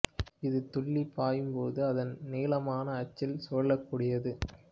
இது துள்ளி பாயும் போது அதன் நீளமான அச்சில் சுழலக்கூடியது